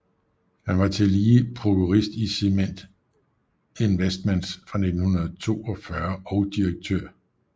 Han var tillige prokurist i Cement Investments fra 1942 og direktør i F